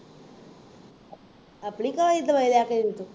ਆਪਣੀ ਕਮਾਈ ਦੀ ਦਵਾਈ ਲਿਆ ਕੇ ਦਿੰਦੇ ਹੋ